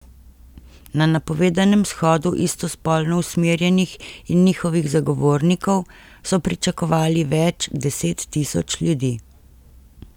Na napovedanem shodu istospolno usmerjenih in njihovih zagovornikov so pričakovali več deset tisoč ljudi.